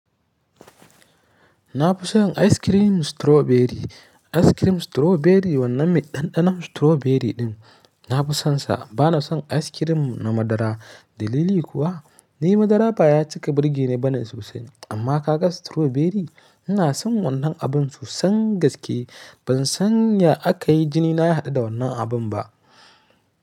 Na fi son ice cream strawberry. Ice cream strawberry wannan miɗaɗɗan strawberry ɗin, na fi sonsa. Ba na son ice cream na madara. Dalili kuwa, ni madara baya cika birgine bane sosai. Amma ka ga strawberry, ina son wannan abun sosai gaske. Ban san ya aka yi jini na ya haɗu da wannan abun ba.